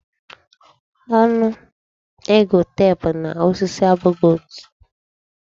Onu ege tep na osisi abụghị otu.